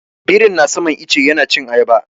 Birin na saman ice yana cin ayaba.